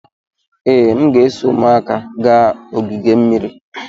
Ee, m ga-eso ụmụaka gaa ogige mmiri.